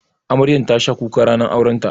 Amaryar tasha kuka ranar aurenta.